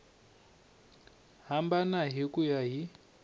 hambana hi ku ya hi